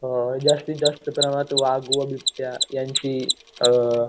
जास्तीत जास्त प्रमाणात वाघ व बिबट्या यांची अ